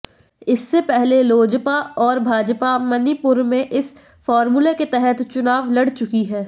इससे पहले लोजपा और भाजपा मणिपुर में इस फॉर्मूले के तहत चुनाव लड़ चुकी हैं